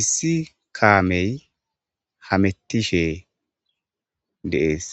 issi kaamey hametishe deees.